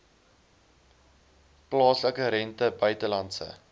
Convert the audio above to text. plaaslike rente buitelandse